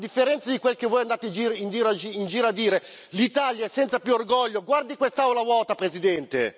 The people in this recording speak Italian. A differenza di quel che voi andate in giro a dire, l'Italia senza è più orgoglio guardi quest'Aula vuota, Presidente!